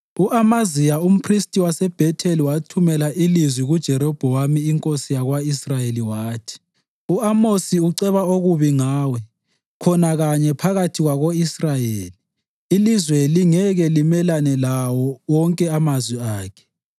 U-Amaziya umphristi waseBhetheli wathumela ilizwi kuJerobhowamu inkosi yako-Israyeli, wathi, “U-Amosi uceba okubi ngawe khona kanye phakathi kwako-Israyeli. Ilizwe lingeke limelane lawo wonke amazwi akhe.